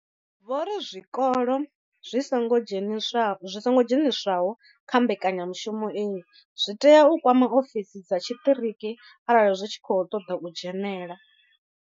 Vho ri zwikolo zwi songo dzheniswaho kha mbekanyamushumo iyi zwi tea u kwama ofisi dza tshiṱiriki arali zwi tshi khou ṱoḓa u dzhenela.